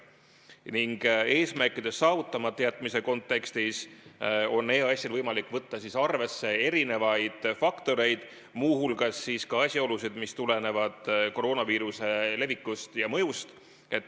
Ning eesmärkide saavutamata jätmise korral on EAS-il võimalik võtta arvesse erinevaid faktoreid, muu hulgas asjaolusid, mis tulenevad koroonaviiruse levikust ja mõjust.